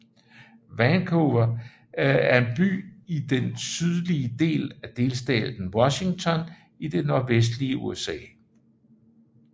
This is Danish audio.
Vancouver er en by i den sydlige del af delstaten Washington i det nordvestlige USA